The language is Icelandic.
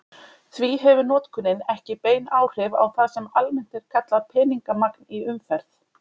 Því hefur notkunin ekki bein áhrif á það sem almennt er kallað peningamagn í umferð.